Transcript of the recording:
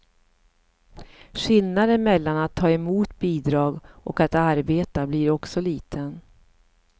Skillnaden mellan att ta emot bidrag och att arbeta blir också liten.